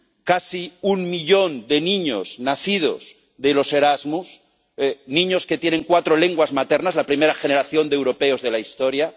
casi un millón de niños nacidos de los Erasmus, niños que tienen cuatro lenguas maternas, la primera generación de europeos de la historia.